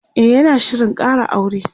e yana Shirin Kara aure